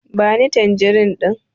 Ba ni tanjirin ɗin!